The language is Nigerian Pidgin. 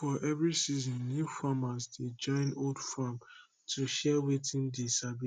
for every season new farmers dey join old farm to share wetin dey sabi